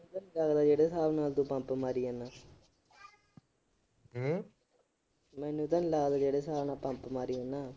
ਪਤਾ ਜਿਹੜੇ ਸਾਬ ਨਾਲ ਤੂੰ ਪੰਪ ਮਾਰੀ ਜਾਂਦਾ। ਮੈਨੂੰ ਤਾਂ ਲੱਗਦਾ ਜਿਹੜੇ ਸਾਬ ਨਾਲ ਤੂੰ ਪੰਪ ਮਾਰੀ ਜਾਂਦਾ।